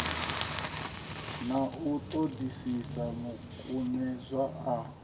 na u ṱoḓisisa makumedzwa a